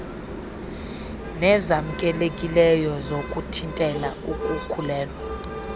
nezamkelekileyo zokuthintela ukukhulelwa